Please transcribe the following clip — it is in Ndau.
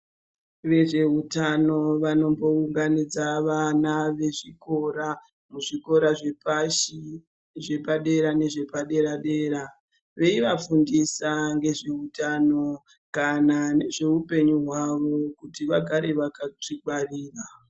Vezveutano vanombounganidza vana vezvikora muzvikora zvepashi, zvepadera nezvepadera-dera veivafundisa ngezveutano kana ngezveupenyu hwavo kuti vagare vakazvingwarira.